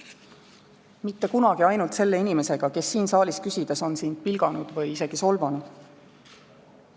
Mitte kunagi ainult selle inimesega, kes siin saalis küsides on sind pilganud või isegi solvanud.